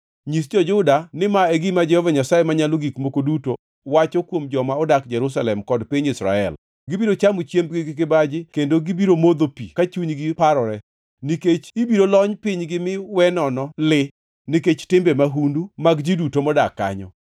Nyis jo-Juda ni ma e gima Jehova Nyasaye Manyalo Gik Moko Duto wacho kuom joma odak Jerusalem kod piny Israel: Gibiro chamo chiembgi gi kibaji kendo gibiro modho pigegi ka chunygi parore, nikech ibiro lony pinygi mi we nono li nikech timbe mahundu mag ji duto modak kanyo.